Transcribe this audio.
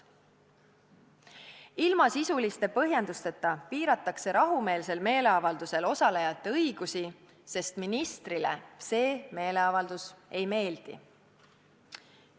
Ilma sisuliste põhjendusteta piiratakse rahumeelsel meeleavaldusel osalejate õigusi, sest ministrile see meeleavaldus ei meeldi.